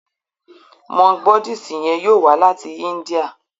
Monk Buddhist yen yóò wá láti India.